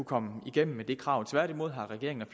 komme igennem med det krav tværtimod har regeringen ad